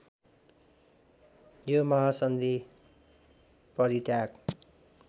यो महासन्धि परित्याग